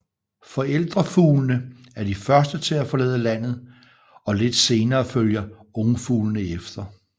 Forældrefuglene er de første til at forlade landet og lidt senere følger ungfuglene efter